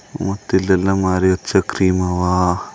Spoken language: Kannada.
ಮತ್ ಇಲ್ಲೆಲ್ಲಾ ಮಾರಿ ಹಚ್ಚ ಕ್ರೀಮ್ ಅವ.